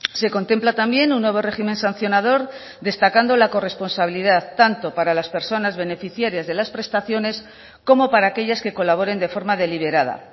se contempla también un nuevo régimen sancionador destacando la corresponsabilidad tanto para las personas beneficiarias de las prestaciones como para aquellas que colaboren de forma deliberada